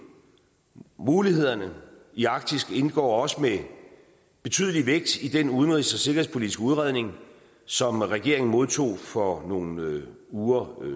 mulighederne i arktis indgår også med betydelig vægt i den udenrigs og sikkerhedspolitiske udredning som regeringen modtog for nogle uger